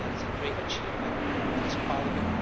I think that is a great achievement for this Parliament.